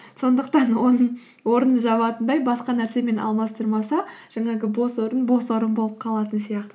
сондықтан оның орнын жабатындай басқа нәрсемен алмастырмаса жаңағы бос орын бос орын болып қалатын сияқты